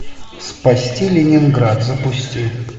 спасти ленинград запусти